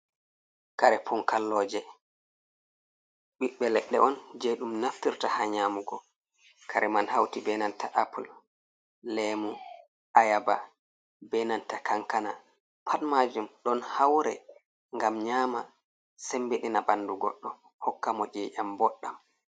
Kare punkalloje: Ɓiɓɓe leɗɗe on je ɗum naftirta ha nyamugo. Kare man hauti be nanta apple, lemu, ayaba, be nanta kankana. Pat majum ɗon haure ngam nyama sembeɗina ɓandu goɗɗo hokkamo iƴam boɗɗam